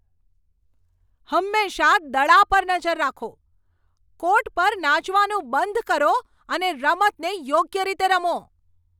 હંમેશા દડા પર નજર રાખો. કોર્ટ પર નાચવાનું બંધ કરો અને રમતને યોગ્ય રીતે રમો.